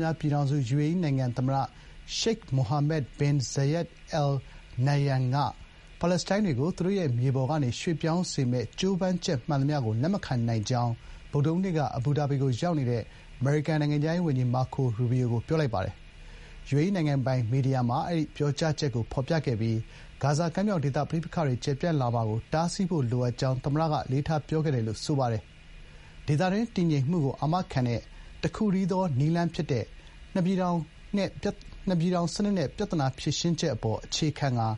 များ ပြည်ထောင်စု UAE နိုင်ငံ သမ္မတ Sheikh Mohammed bin Zayed Al Nahyan က ပါလက်စတိုင်းတွေကို သူတို့ရဲ့ မြေပေါ်ကနေ ရွှေ့ပြောင်းစေမယ့် ကြိုးပမ်းချက်မှန်သမျှကို လက်မခံနိုင်ကြောင်း ဗုဒ္ဓဟူးနေ့က အဘူဒါဘီကို လာရောက်တဲ့ အမေရိကန် နိုင်ငံခြားရေးဝန်ကြီး မာကို ရိုဘီယို (Marco Rubio) ကို ပြောလိုက်ပါတယ်။ ယူအေအီးနိုင်ငံပိုင်မီဒီယာမှာ အဲဒီ ပြောကြားချက်ကို ဖော်ပြခဲ့ပြီး သမ္မတက ဂါဇာကမ်းမြောင်ဒေသ ပဋိပက္ခတွေ ကျယ်ပြန့်လာမှာကို တားဆီးဖို့ လိုအပ်ကြောင်း အလေးထားပြောခဲ့တယ်လို့ ဆိုပါတယ်။ “ဒေသတွင်း တည်ငြိမ်မှုကို အာမခံတဲ့ တခုတည်းသော နည်းလမ်း ဖြစ်တဲ့ နှစ်ပြည်ထောင်နဲ့ ပြဿနာ ဖြေရှင်းချက်အပေါ် အခြေခံကာ